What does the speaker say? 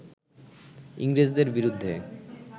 ইংরেজদের বিরুদ্ধে